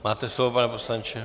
Máte slovo, pane poslanče.